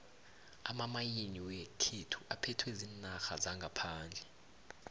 amamayini wekhethu aphethwe ziinarha zangaphandle